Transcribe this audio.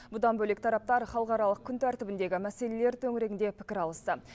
бұдан бөлек тараптар халықаралық күнтәртібіндегі мәселелер төңірегінде пікір алысты